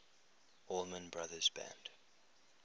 allman brothers band